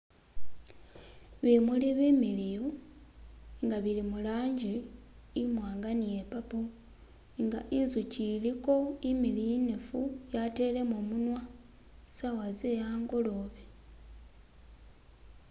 Bimuli bimiliyu nga bili murangi imwanga ni iye purple nga inzuchi iliko imiliyu inefu yatelemo munwa , saawa ze angolobe.